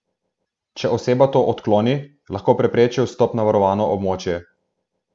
Če oseba to odkloni, lahko preprečijo vstop na varovano območje.